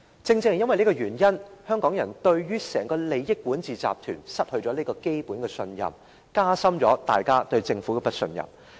正因為這個原因，香港人對整個利益管治集團失去了基本的信任，加深了對政府的不信任。